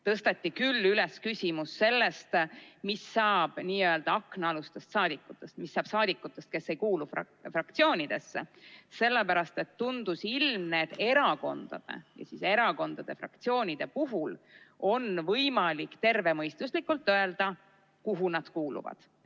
Tõsteti küll üles küsimus, mis saab n‑ö aknaalustest saadikutest, st mis saab rahvasaadikutest, kes ei kuulu ühessegi fraktsiooni, kuna tundus ilmne, et erakondade või fraktsioonide puhul on võimalik tervemõistuslikult öelda, kuhu nad kuuluvad.